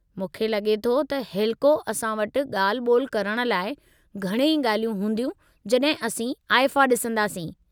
मूंखे लगे॒ थो त हेलिको असां वटि ॻाल्हि-ॿोल करणु लाइ घणई गा॒ल्हियूं हूंदियूं जड॒हिं असीं आईफ़ा डि॒संदासीं।